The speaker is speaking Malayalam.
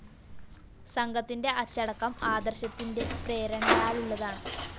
സംഘത്തിന്റെ അച്ചടക്കം ആദര്‍ശത്തിന്റെ പ്രേരണയാലുള്ളതാണ്